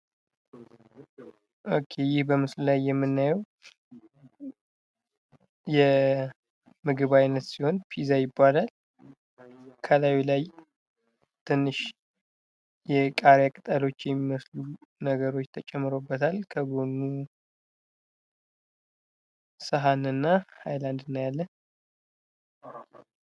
ይህ በምስሉ ላይ የምንመለከተው የምግብ አይነት ሲሆን ፒዛ ይባላል። ከላዩ ላይ ትንሽ የቃሪያ ቅጠሎች የሚመስሉ ተጨምሮበታል። ከጎኑ ሰሀንና ሀይላንድ እናያለን።